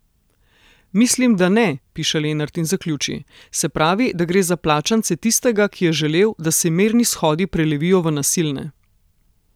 Mislim, da ne,' piše Lenart in zaključi: 'Se pravi, da gre za plačance tistega, ki je želel, da se mirni shodi prelevijo v nasilne.